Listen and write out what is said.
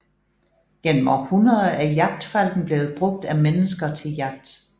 Gennem århundreder er jagtfalken blevet brugt af mennesker til jagt